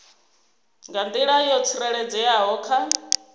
nga nḓila yo tsireledzeaho kha